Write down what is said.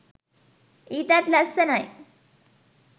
ඊටත් ලස්සනයි.